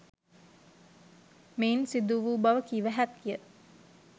මෙයින් සිදු වූ බව කිව හැකිය.